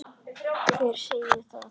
Hver segir það?